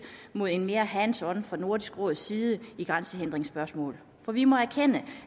mod en mere hands on tilgang fra nordisk råds side i grænsehindringsspørgsmål for vi må erkende